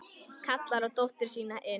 Kallar á dóttur sína inn.